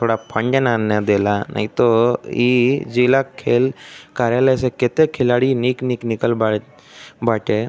थोड़ा फण्ड ना न देला नाहीं तोह ई जिला खेल कार्यालय से केते खिलाड़ी निक निक निकल बावे बाटे।